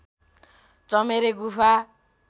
चमेरे गुफा